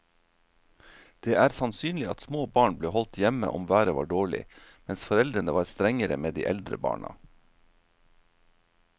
Det er sannsynlig at små barn ble holdt hjemme om været var dårlig, mens foreldrene var strengere med de eldre barna.